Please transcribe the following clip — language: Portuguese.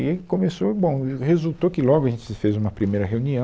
E começou, bom, e resultou que logo a gente se fez uma primeira reunião.